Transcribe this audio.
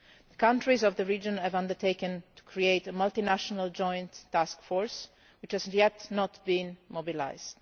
The countries of the region have undertaken to create a Multinational Joint Task Force, which has not yet been mobilised.